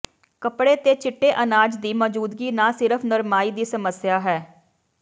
ਕੱਪੜੇ ਤੇ ਚਿੱਟੇ ਅਨਾਜ ਦੀ ਮੌਜੂਦਗੀ ਨਾ ਸਿਰਫ਼ ਨਰਮਾਈ ਦੀ ਸਮੱਸਿਆ ਹੈ